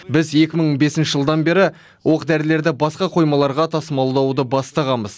біз екі мың бесінші жылдан бері оқ дәрілерді басқа қоймаларға тасымалдауды бастағанбыз